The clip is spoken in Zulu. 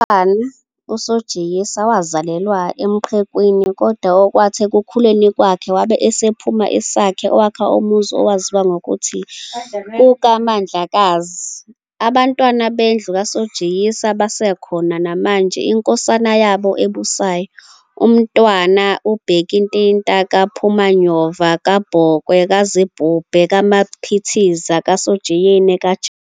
UMntwana uSojiyisa wazalelwa eMqekwini kodwa okwathi ekukhuleni kwakhe wabe esephuma esakha owakhe umuzi owaziwa ngokuthi kukwaMandlakazi. AbaNtwana bendlu kaSojiyisa basekhona namanje iNkosana yabo ebusayo uMntwana uBhekintinta kaPhumanyova kaBhokwe kaZibhebhu kaMaphitha kaSojiyisa kaJama.